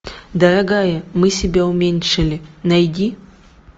дорогая мы себя уменьшили найди